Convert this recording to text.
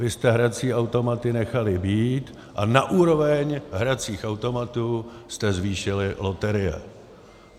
Vy jste hrací automaty nechali být a na úroveň hracích automatů jste zvýšili loterie.